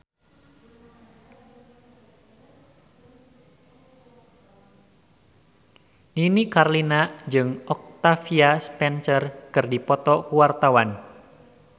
Nini Carlina jeung Octavia Spencer keur dipoto ku wartawan